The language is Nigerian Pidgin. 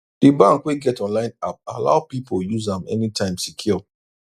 d bank wey get online app allow people use am anytime secure